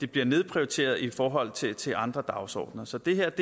bliver nedprioriteret i forhold til til andre dagsordener så det her